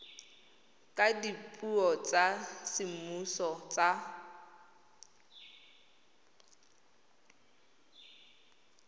ka dipuo tsa semmuso tsa